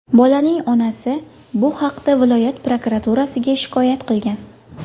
Bolaning onasi bu haqda viloyat prokuraturasiga shikoyat qilgan.